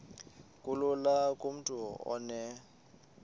kulula kumntu onen